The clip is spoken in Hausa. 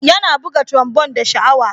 Yana buga trombon da sha'awa.